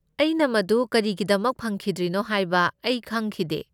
ꯑꯩꯅ ꯃꯗꯨ ꯀꯔꯤꯒꯤꯗꯃꯛ ꯐꯪꯈꯤꯗ꯭ꯔꯤꯅꯣ ꯍꯥꯏꯕ ꯑꯩ ꯈꯪꯈꯤꯗꯦ꯫